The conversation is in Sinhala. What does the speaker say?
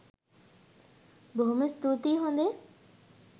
බොහොම ස්තූතියි හො‍ඳේ.